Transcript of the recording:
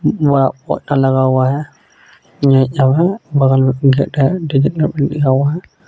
बड़ा लगा हुआ है यही सब है बगल मे गेट डिजिटल हुआ है।